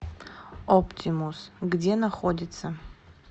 оптимус где находится